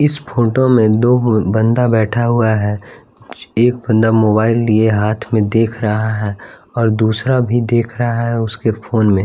इस फोटो में दो बंदा बैठा हुआ है एक बंदा मोबाइल लिए हाथ में देख रहा है और दूसरा भी देख रहा है उसके फोन में--